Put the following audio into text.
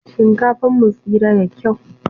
Shinkafan mu tsira da kyau.